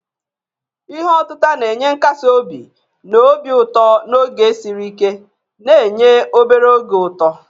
Ihe otita na-enye nkasi obi na obi ụtọ n'oge siri ike, na-enye obere oge ụtọ.